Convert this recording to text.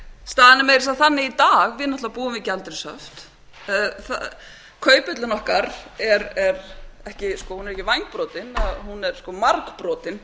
að segja þannig í dag að við náttúrlega búum við gjaldeyrishöft kauphöllin okkar er ekki vængbrotin hún er margbrotin